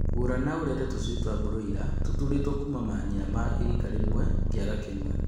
Gũra na ũrere tũshui twa broila tũtũrĩtwo kuma manyina ma rika rĩmwe kiaga kĩmwe